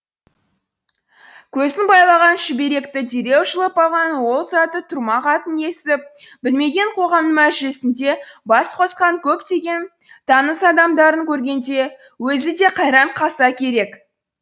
көзін байлаған шүберекті дереу жұлып алған ол заты тұрмақ атын естіп білмеген қоғамның мәжілісінде бас қосқан көптеген таныс адамдарын көргенде өзі де қайран қалса керек